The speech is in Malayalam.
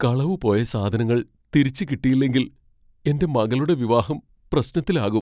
കളവ് പോയ സാധങ്ങൾ തിരിച്ച് കിട്ടിയില്ലെങ്കിൽ എന്റെ മകളുടെ വിവാഹം പ്രശ്നത്തിലാകും.